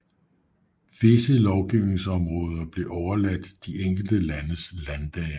Visse lovgivningsområder blev overladt de enkelte landes landdage